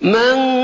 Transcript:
مَن